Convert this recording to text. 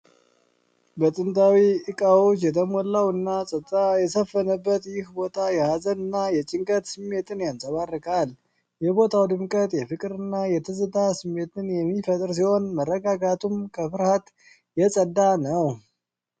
በጥንታዊ እቃዎች የተሞላውና ፀጥታ የሰፈነበት ይህ ቦታ የሀዘንና የጭንቀት ስሜትን ያንጸባርቃል። የቦታው ድምቀት የፍቅርና የትዝታ ስሜትን የሚፈጥር ሲሆን፣ መረጋጋቱም ከፍርሃት የጸዳ ነው።